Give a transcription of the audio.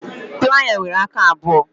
Playa nwere aka abụọ